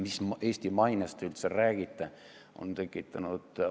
Mis Eesti mainest te üldse räägite?!